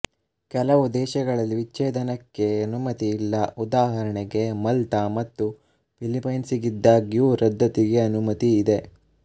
ಕೆಲವು ದೇಶಗಳಲ್ಲಿ ವಿಚ್ಛೇದನಕ್ಕೆ ಅನುಮತಿ ಇಲ್ಲಉದಾಹರಣೆಗೆ ಮಲ್ತಾ ಮತ್ತು ಫಿಲಿಫೈನ್ಸ್ಹೀಗಿದ್ದಾಗ್ಯೂ ರದ್ದತಿಗೆ ಅನುಮತಿ ಇದೆ